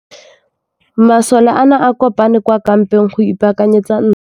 Masole a ne a kopane kwa kampeng go ipaakanyetsa ntwa.